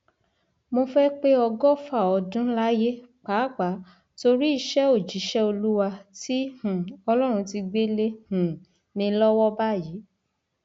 mo fẹẹ pé ọgọfà ọdún láyé pàápàá torí iṣẹ òjíṣẹ olúwa tí um ọlọrun ti gbé lé um mi lọwọ báyìí